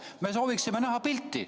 Me sooviksime näha pilti.